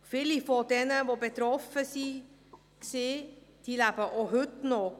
Viele, die davon betroffen waren, leben heute noch.